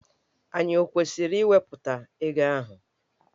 Ànyị ọ kwesịrị iwepụta ego ahụ?